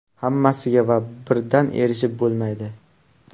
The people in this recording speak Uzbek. Hammasiga va birdan erishib bo‘lmaydi.